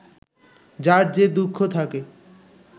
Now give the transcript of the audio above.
যার যে দুঃখ থাকে